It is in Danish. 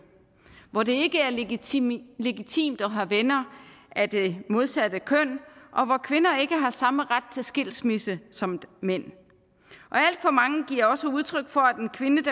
hvor det ikke er legitimt legitimt at have venner af det modsatte køn og hvor kvinder ikke har samme ret til skilsmisse som mænd alt for mange giver også udtryk for